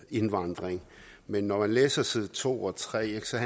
indvandring men når man læser side to og tre ser